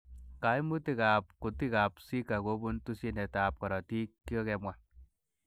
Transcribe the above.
Koimutikab kutikab Zika kobun tesyinetab korotik kokikemwa.